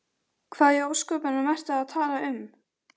Hvað í ósköpunum ertu að tala um?